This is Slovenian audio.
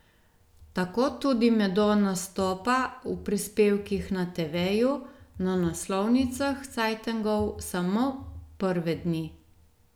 Tako tudi medo nastopa v prispevkih na teveju, na naslovnicah cajtengov samo prve dni.